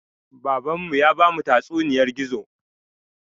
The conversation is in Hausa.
Baban mu ya bamu tatsuniyar gizo